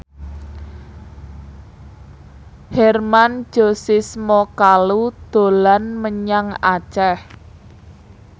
Hermann Josis Mokalu dolan menyang Aceh